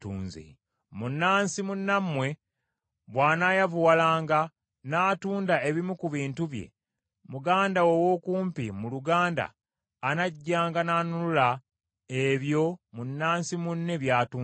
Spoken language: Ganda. “Munnansi munnammwe bw’anaayavuwalanga, n’atunda ebimu ku bintu bye, muganda we ow’okumpi mu luganda anajjanga n’anunula ebyo munnansi munne by’atunze.